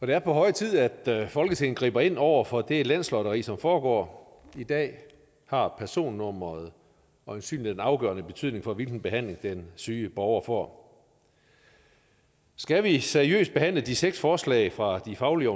det er på høje tid at folketinget griber ind over for det landslotteri som foregår i dag har personnummeret øjensynlig en afgørende betydning for hvilken behandling den syge borger får skal vi seriøst behandle de seks forslag fra de faglige